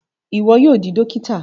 Iwọ yóò di dókítà